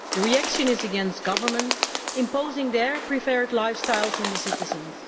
the reaction is against governments imposing their preferred lifestyles on the citizens.